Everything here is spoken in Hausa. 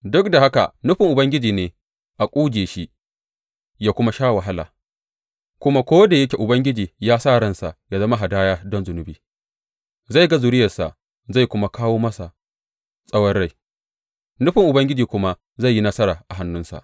Duk da haka nufin Ubangiji ne a ƙuje shi yă kuma sa yă sha wahala, kuma ko da yake Ubangiji ya sa ransa ya zama hadaya don zunubi, zai ga zuriyarsa zai kuma kawo masa tsawon rai, nufin Ubangiji kuma zai yi nasara a hannunsa.